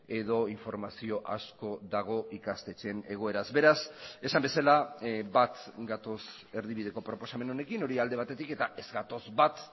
edo informazio asko dago ikastetxeen egoeraz beraz esan bezala bat gatoz erdibideko proposamen honekin hori alde batetik eta ez gatoz bat